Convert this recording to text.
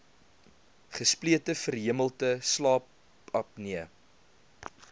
gesplete verhemelte slaapapnee